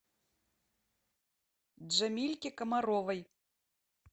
джамильке комаровой